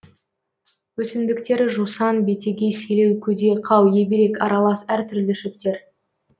өсімдіктері жусан бетеге селеу көде қау ебелек аралас әр түрлі шөптер